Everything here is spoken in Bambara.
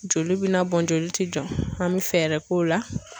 Joli bina bɔn joli ti jɔ an mi fɛɛrɛ k'o la